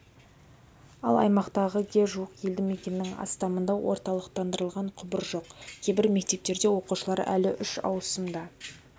ал аймақтағы ге жуық елді мекеннің астамында орталықтандырылған құбыр жоқ кейбір мектептерде оқушылар әлі үш ауысымда